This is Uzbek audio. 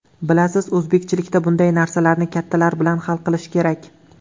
Bilasiz, o‘zbekchilikda bunday narsalarni kattalar bilan hal qilish kerak.